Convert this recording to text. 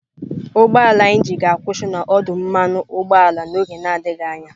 Ụgbọ ala anyị ji ga-akwụsị n'ọdụ mmanụ ụgbọala n'oge na-adịghị anya.